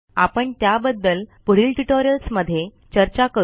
आपण त्याबद्दल पुढील ट्युटोरियल्समध्ये चर्चा करू